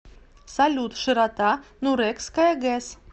салют широта нурекская гэс